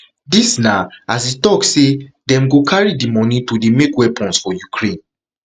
dis na as e tok say dem go carry di money to dey make weapons for ukraine